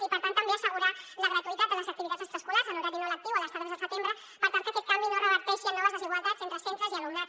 i per tant també assegurar la gratuïtat de les activitats extraescolars en horari no lectiu a les tardes de setembre per tal que aquest canvi no reverteixi en noves desigualtats entre centres i alumnat